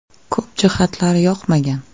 Ko‘p jihatlari yoqmagan.